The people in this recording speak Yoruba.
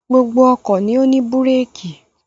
Gbogbo ọkọ̀ ni ó ní búrékì.